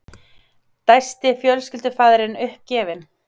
dæsti fjölskyldufaðirinn uppgefinn.